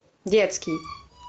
детский